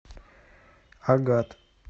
агат